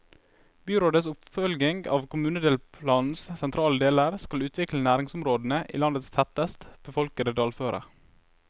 Byrådets oppfølging av kommunedelplanens sentrale deler skal utvikle næringsområdene i landets tettest befolkede dalføre.